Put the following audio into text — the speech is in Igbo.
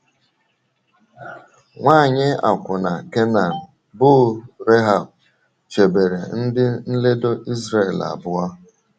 Nwanyị akwụna Kenan bụ́ Rehab chebere ndị nledo Izrel abụọ.